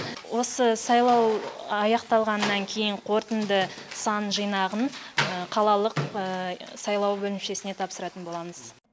осы сайлау аяқталғаннан кейін қорытынды сан жинағын қалалық сайлау бөлімшесіне тапсыратын боламыз